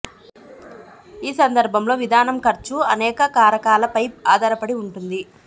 ఈ సందర్భంలో విధానం ఖర్చు అనేక కారకాల పై ఆధారపడి ఉంటుంది